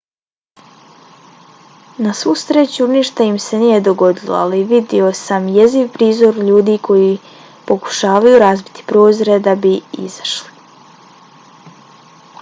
na svu sreću ništa mi se nije dogodilo ali vidio sam jeziv prizor ljudi koji pokušavaju razbiti prozore da bi izašli.